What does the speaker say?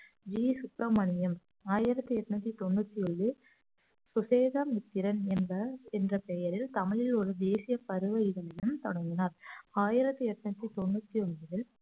G Subramaniam ஆயிரத்தி எட்நூத்தி தொண்ணூத்தி ஏழு சுசேத மித்திரன் என்ப~ என்ற பெயரில் தமிழ் ஒரு தேசிய பருவ இதகள் தொடங்கினார் ஆயிரத்தி எட்நூத்தி தொண்ணூத்தி ஒன்பதில்